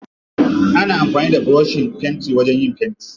Ana amfani da burushin fenti wajen yin fenti.